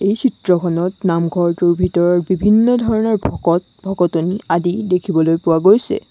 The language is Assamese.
এই চিত্ৰখনত নামঘৰটোৰ ভিতৰত বিভিন্ন ধৰণৰ ভকত-ভকতনী আদি দেখিবলৈ পোৱা গৈছে।